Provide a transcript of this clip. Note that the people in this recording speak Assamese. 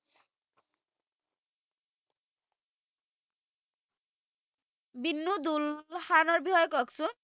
দিন্নু দুল্লো খানৰ বিষয়ে ককচোন